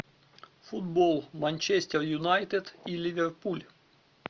футбол манчестер юнайтед и ливерпуль